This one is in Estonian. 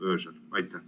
Aitäh!